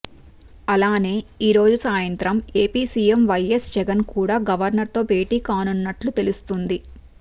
అలానే ఈ రోజు సాయంత్రం ఏపీ సీఎం వైఎస్ జగన్ కూడా గవర్నర్ తో భేటీ కానున్నట్లు తెలుస్తుంది